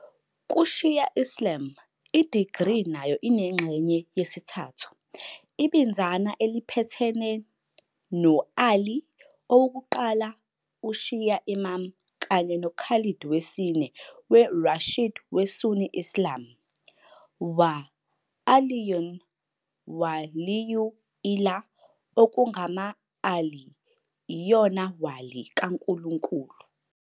Ku- Shia Islam, i-degree nayo inengxenye yesithathu, ibinzana eliphathelene no- Ali, owokuqala uShia Imam kanye no calid wesine we- Rashid weSunni Islam - wa ʿalīyyun walīyyu-llāh okungama-"Ali iyona "wali" kaNkulunkulu".